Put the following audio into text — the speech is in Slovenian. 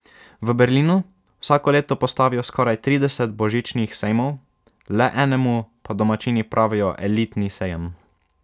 V Berlinu vsako leto postavijo skoraj trideset božičnih sejmov, le enemu pa domačini pravijo elitni sejem.